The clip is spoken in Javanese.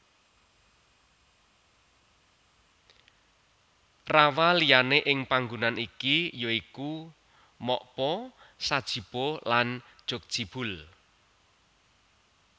Rawaliyane ing panggonan iki ya iku Mokpo Sajipo lan Jjokjibeol